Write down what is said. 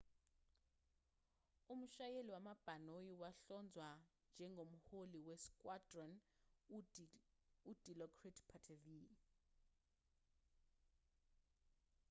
umshayeli wabhanoyi wahlonzwa njengomholi we-squadron u-dilokrit pattavee